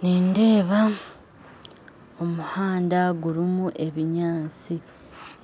Nindeeba omuhanda gurumu ebinyantsi,